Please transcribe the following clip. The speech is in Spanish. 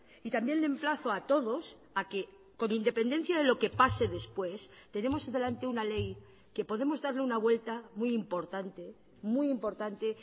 y también le emplazo a todos a que con independencia de lo que pase después tenemos delante una ley que podemos darle una vuelta muy importante muy importante